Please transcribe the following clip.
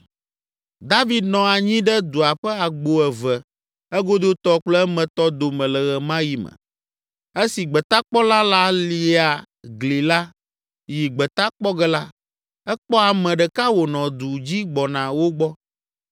David nɔ anyi ɖe dua ƒe agbo eve, egodotɔ kple emetɔ dome le ɣe ma ɣi me. Esi gbetakpɔla la lia gli la yi gbeta kpɔ ge la, ekpɔ ame ɖeka wònɔ du dzi gbɔna wo gbɔ.